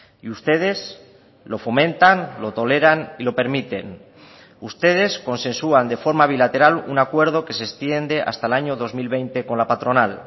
y ustedes lo fomentan lo toleran y lo permiten ustedes consensuan de forma bilateral un acuerdo que se extiende hasta el año dos mil veinte con la patronal